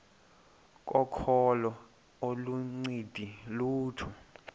kokholo aluncedi lutho